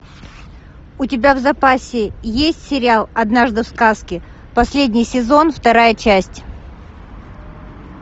у тебя в запасе есть сериал однажды в сказке последний сезон вторая часть